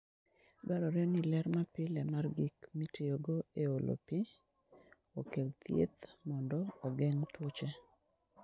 Dwarore ni ler mapile mar gik mitiyogo e olo pi, okel thieth mondo ogeng' tuoche.